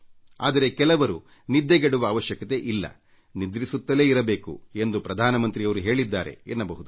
ಆದರೆ ಕೆಲವರು ನಿದ್ದೆಗೆಡುವ ಅವಶ್ಯಕತೆಯಿಲ್ಲ ನಿದ್ರಿಸುತ್ತಲೇ ಇರಬೇಕು ಎಂದು ಪ್ರಧಾನಮಂತ್ರಿಯವರು ಹೇಳಿದ್ದಾರೆ ಎನ್ನಬಹುದು